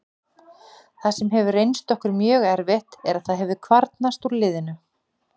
Það sem hefur reynst okkur mjög erfitt er að það hefur kvarnast úr liðinu.